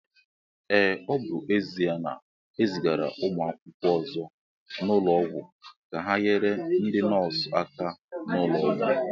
Ee, ọ bụ ezia na ezigara ụmụ akwụkwọ ọzọ n'ụlọọgwụ ka ha nyere ndi nọọsụ aka n'ulo Ọgwụ